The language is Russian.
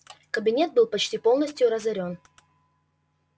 кабинет был почти полностью разорён